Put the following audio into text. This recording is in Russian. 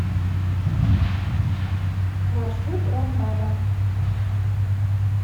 маршрут ромбаба